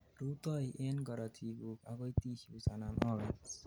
rutoi en karotikguk agoi tissues anan organs